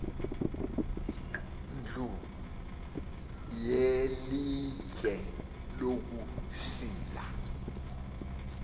ndlu yelitye lokusila